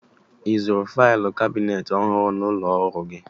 I zụrụ failụ kabineeti ọhụrụ n'ụlọ ọrụ gị?